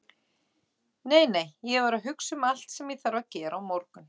Nei, nei, ég var að hugsa um allt sem ég þarf að gera á morgun.